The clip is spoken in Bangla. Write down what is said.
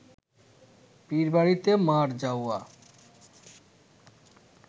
পীরবাড়িতে মার যাওয়া